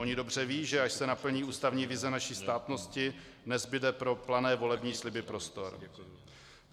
Ony dobře vědí, že až se naplní ústavní vize naší státnosti, nezbude pro plané volební sliby prostor.